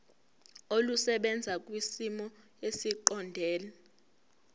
olusebenza kwisimo esiqondena